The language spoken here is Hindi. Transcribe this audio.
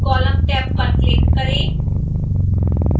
column टैब पर click करें